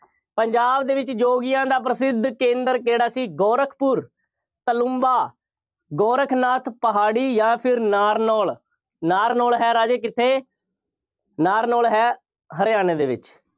ਪੰਜਾਬ ਦੇ ਵਿੱਚ ਯੋਗੀਆਂ ਦਾ ਪ੍ਰਸਿੱਧ ਕੇਂਦਰ ਕਿਹੜਾ ਸੀ? ਗੋਰਖਪੁਰ, ਤਾਲੁੰਬਾ, ਗੋਰਖਨਾਥ ਪਹਾੜੀ ਜਾਂ ਫਿਰ ਨਾਰਨੌਲ, ਨਾਰਨੌਲ ਹੈ ਰਾਜੇ ਕਿੱਥੇ। ਨਾਰਨੌਲ ਹੈ ਹਰਿਆਂਣੇ ਦੇ ਵਿੱਚ।